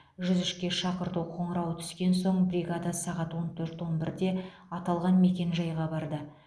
жүз үшке шақырту қоңырауы түскен соң бригада сағат он төрт он бірде аталған мекенжайға барды